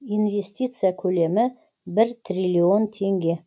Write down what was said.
инвестиция көлемі бір триллион теңге